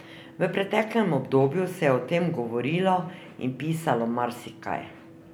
V preteklem obdobju se je o tem govorilo in pisalo marsikaj.